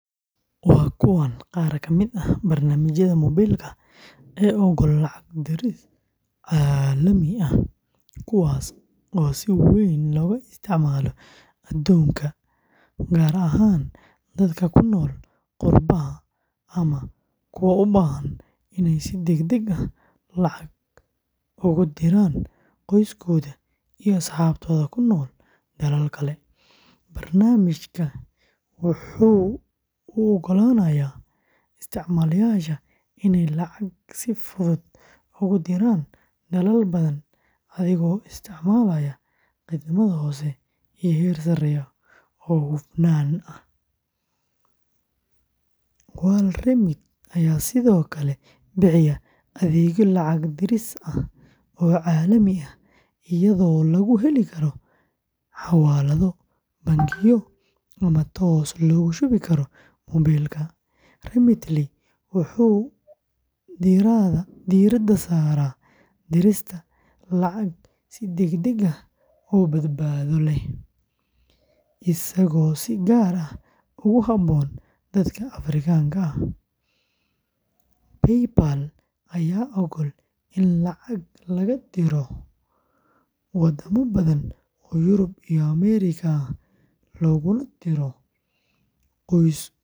Waa kuwan qaar ka mid ah barnaamijyada moobilka ee oggol lacag diris caalami ah, kuwaas oo si weyn looga isticmaalo adduunka, gaar ahaan dadka ku nool qurbaha ama kuwa u baahan inay si degdeg ah lacag ugu diraan qoysaskooda iyo asxaabtooda ku nool dalal kale: Barnaamijka wuxuu u oggolaanayaa isticmaalayaasha inay lacag si fudud ugu diraan dalal badan adigoo isticmaalaya khidmad hoose iyo heer sarreeya oo hufnaan ah; WorldRemit ayaa sidoo kale bixiya adeegyo lacag diris ah oo caalami ah iyadoo lagu heli karo xawaalado, bangiyo, ama toos loogu shubi karo moobilka; Remitly wuxuu diiradda saaraa dirista lacag si degdeg ah oo badbaado leh, isagoo si gaar ah ugu habboon dadka Afrikaanka ah; PayPal ayaa oggol in lacag laga diro waddamo badan oo Yurub iyo Ameerika ah looguna diro qoysas ku sugan dalal horumaraya.